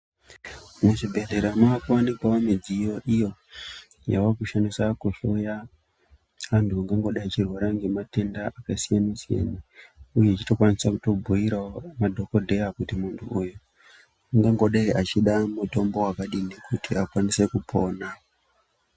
Muzvibhedhlera makuwanikwawo midziyo iyo yakushandiswa kuhloya anthunangangodai echirwara ngematenda akasiyana siyana uye achitokwanisa kutobhuirawo madhokodheya kuti munthu uyu ungangodai eida mutombo wakadini kuti akwanise kupona.